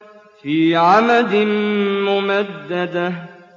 فِي عَمَدٍ مُّمَدَّدَةٍ